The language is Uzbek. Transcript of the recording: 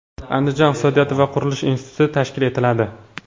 Andijon iqtisodiyot va qurilish instituti tashkil etiladi.